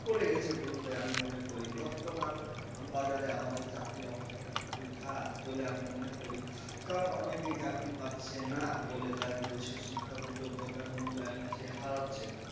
পড়ে গেছে বললে আমি মনে করি বর্তমান বাজারে আমাদের চাকরির অবস্থাটা খুবই খারাপ বলে আমি মনে করি কারণ অনেকেই চাকরি পাচ্ছে না বলে তার নিজস্ব শিক্ষার যোগ্যতার মূল্যায়নটা সে হারাচ্ছে।